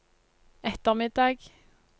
ettermiddag